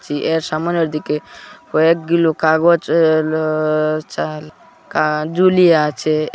সামনের দিকে কয়েক গুলি কাগজ এ আ চাল কা ঝুলিয়া আছে এ--